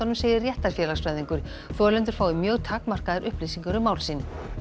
segir þolendur fái mjög takmarkaðar upplýsingar um mál sín